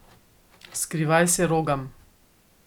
Skrivaj se rogam.